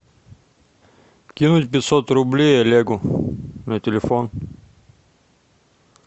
кинуть пятьсот рублей олегу на телефон